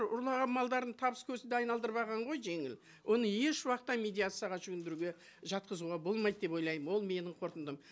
ұрлаған малдарын табыс көзіне айналдырып алған ғой жеңіл оны еш уақытта медиацияға жүгіндіруге жатқызуға болмайды деп ойлаймын ол менің қорытындым